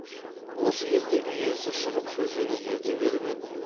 осы кезде үй иесі шығып шөжені ерте беріп еді